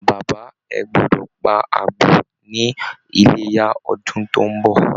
Bàbá, ẹ gbọdọ̀ pa àgbò ní Iléyá ọdún tó ń bọ̀!